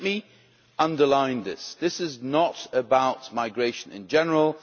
Let me underline that this is not about migration in general